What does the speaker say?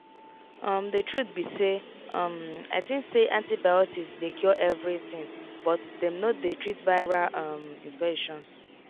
umthe truth be say um i think say antibiotics dey cure everything but dem no dey treat viral um infections.